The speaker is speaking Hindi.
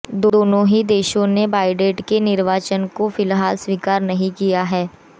दोनों ही देशों ने बाइडेन के निर्वाचन को फिलहाल स्वीकार नहीं किया है